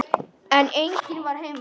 En enginn var heima.